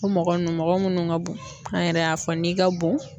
O mɔgɔ nunnu mɔgɔ minnu ka bon an yɛrɛ y'a fɔ n'i ka bon